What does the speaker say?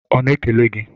Ọ na-ekele gị?